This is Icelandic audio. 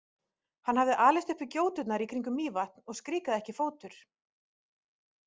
Hann hafði alist upp við gjóturnar í kringum Mývatn og skrikaði ekki fótur.